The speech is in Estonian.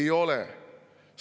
Ei ole!